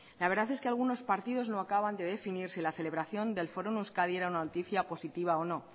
la verdad es que algunos partidos no acaban de definir si la celebración del foro en euskadi era una noticia positiva o no